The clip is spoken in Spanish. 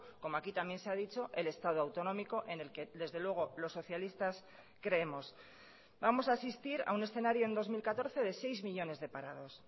como aquí también se ha dicho el estado autonómico en el que desde luego los socialistas creemos vamos a asistir a un escenario en dos mil catorce de seis millónes de parados